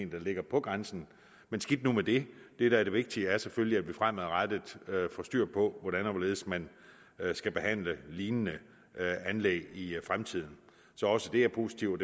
der ligger på grænsen men skidt nu med det det der er det vigtige er selvfølgelig at vi fremadrettet får styr på hvordan og hvorledes man skal behandle lignende anlæg i fremtiden så også det er positivt